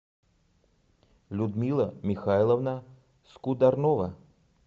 людмила михайловна скудорнова